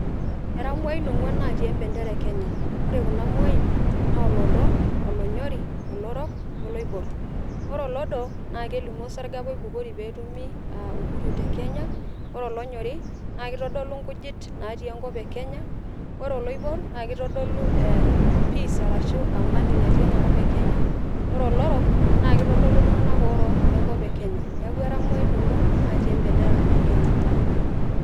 Era mwai ongwan naatii empendera e Kenya. Ore kuna mwain naa olodo , onyori, olorok, oloibor. Ore olodo naa kelimu osarge apa oibukori apa pee etumi uhuru te kenya, ore olonyori naa kitoolu nkujit natii enkop e Kenya, ore oloibor naa kitodolu peace arashu amani natii enakop e kenya, ore olorok naa kitodolu iltunganaka orook otii enkop e Kenya , niaku era imwai ongwan natii empenera e Kenya.